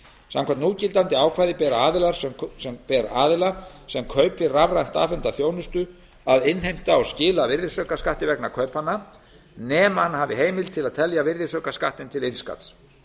samkvæmt núgildandi ákvæði ber aðila sem kaupir rafrænt afhenta þjónustu að innheimta og skila virðisaukaskatti vegna kaupanna nema hann hafi heimild til að telja virðisaukaskattinn til innskatts